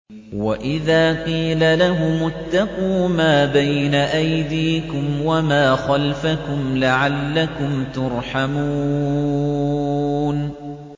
وَإِذَا قِيلَ لَهُمُ اتَّقُوا مَا بَيْنَ أَيْدِيكُمْ وَمَا خَلْفَكُمْ لَعَلَّكُمْ تُرْحَمُونَ